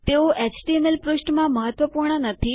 તેઓ એચટીએમએલ પૃષ્ઠમાં મહત્વપૂર્ણ નથી